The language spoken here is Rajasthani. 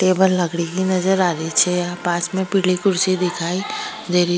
टेबल लगी नजर आरी छे पास में पिली कुर्शी दिखाई देर --